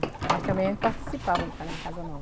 Mas também a gente participava em ca Casa Nova.